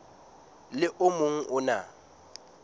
le o mong o na